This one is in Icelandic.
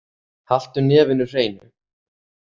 Haltu nefinu hreinu.